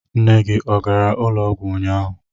Nne gị ọ gara ụlọọgwụ ụnyaahụ?